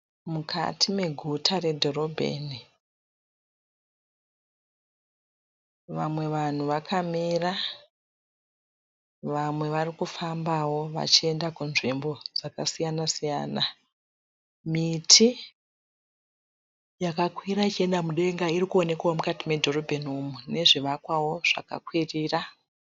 Mukati reguta redhorebheni, vamwe vanhu vakamira, vamwe varikufamba vachienda kwakasiyanasiyana, miti yakakura ichienda mudenga irikuoneka mukati medhorobeni iri nezvivakwa zvakakwirira.